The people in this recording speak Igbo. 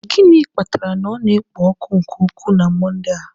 Gịnị kpatara na ọ na-ekpo ọkụ nke ukwuu na Monde a?